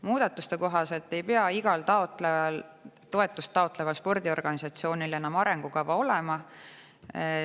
Muudatuste kohaselt ei pea igal toetust taotleval spordiorganisatsioonil enam arengukava olema.